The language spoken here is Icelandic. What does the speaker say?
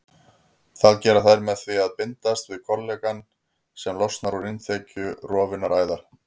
Það gera þær með því að bindast við kollagen sem losnar úr innþekju rofinnar æðar.